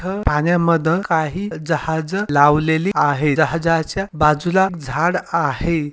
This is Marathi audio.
इथ पाण्यामध्ये काही जहाज लावलेली आहे जहाजाच्या बाजूला झाड आहे.